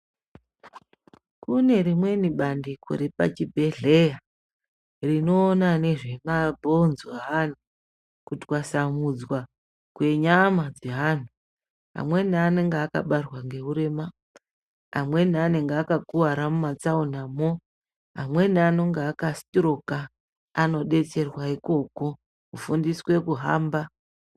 Kune rimweni bandiko repazvibhelera rinoona nezve mabhonzo eantu kutasamudzwa kwenyama dzeantu amweni anenge akabarwa ngeurema amweni anenge akakuwara mumatsaona mwo amweni anenga aka sitiroka anodetsrerwa ikoko kufundiswe kuhamba.